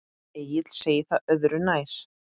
Egill segir það öðru nær.